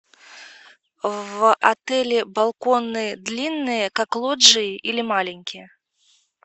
в отеле балконы длинные как лоджии или маленькие